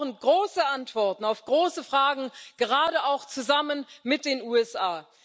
Wir brauchen große Antworten auf große Fragen, gerade auch zusammen mit den USA.